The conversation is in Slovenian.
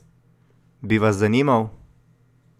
Bi vas zanimal?